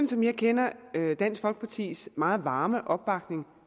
som jeg kender dansk folkepartis meget varme opbakning